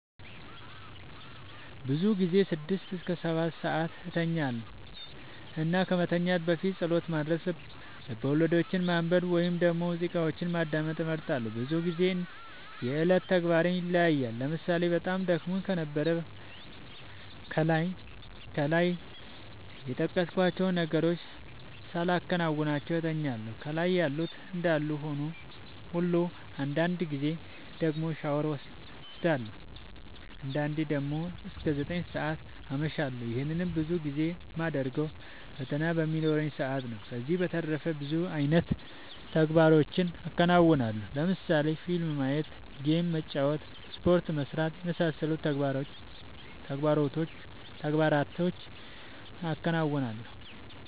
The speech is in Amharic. ብዙ ጊዜ ስድስት እስከ ሰባትሰዓት እተኛለሁ እና ከመተኛት በፊት ፀሎት ማድረስ፣ ልቦለዶችን ማንበብ ወይም ደግሞ ሙዚቃዎችን ማዳመጥ እመርጣለሁ። ብዙ ግዜ እንደ የዕለት ተግባሬ ይለያያል ለምሳሌ በጣም ደክሞኝ ከነበረ ከላይ የጠቀስኳቸውን ነገሮች ሳላከናውን እተኛለሁ ከላይ ያሉት እንዳሉ ሁሉ አንዳንድ ጊዜ ደግሞ ሻወር ወስዳለሁ። አንዳንዴ ደግሞ እስከ ዘጠኝ ሰዓት አመሻለሁ ይህንንም ብዙ ጊዜ የማደርገው ፈተና በሚኖረኝ ሰአት ነው። ከዚህ በተረፈ ብዙ አይነት ተግባሮችን አከናወናለሁ ለምሳሌ ፊልም ማየት ጌም መጫወት ስፖርት መስራት የመሳሰሉት ተግባሮቹን አከናውናለሁ።